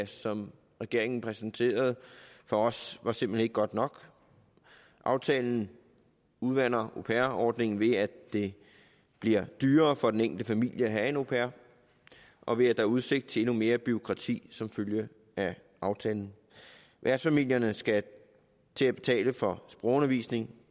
som regeringen præsenterede for os var simpelt hen ikke godt nok aftalen udvander au pair ordningen ved at det bliver dyrere for den enkelte familie at have en au pair og ved at er udsigt til endnu mere bureaukrati som følge af aftalen værtsfamilierne skal til at betale for sprogundervisning